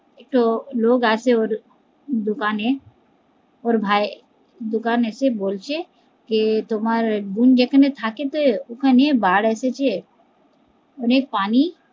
একটা লোক আসে ওর দোকানে ওর ভাই এই দোকান আছে, বলছে কে তোমার বোন যেকানে থাকে ওখানে বানঃ এসেছে অনেক পানি